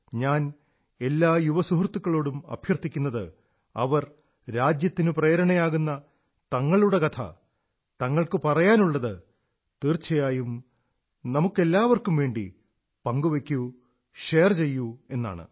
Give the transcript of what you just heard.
ഞാൻ എല്ലാ യുവ സുഹൃത്തുക്കളോടും അഭ്യർഥിക്കുന്നത് അവർ രാജ്യത്തിന് പ്രേരണയാകുന്ന തങ്ങളുടെ കഥ തങ്ങൾക്കു പറയാനുള്ളത് തീർച്ചയായും നമ്മൾക്കെല്ലാവർക്കും വേണ്ടി പങ്കുവയ്ക്കൂ ഷെയർ ചെയ്യൂ എന്നാണ്